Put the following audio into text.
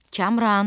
Kamran!